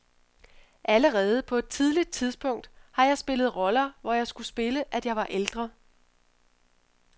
Allerede på et tidligt tidpsunkt har jeg spillet roller, hvor jeg skulle spille, at jeg var ældre.